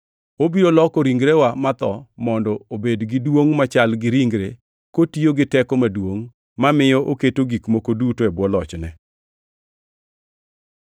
Obiro loko ringrewa matho mondo obed gi duongʼ machal gi ringre, kotiyo gi teko maduongʼ mamiyo oketo gik moko duto e bwo lochne.